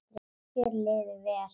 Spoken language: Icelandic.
Þér liði vel.